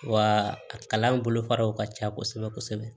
Wa a kalan bolofaraw ka ca kosɛbɛ kosɛbɛ